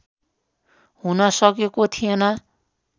हुन सकेको थिएन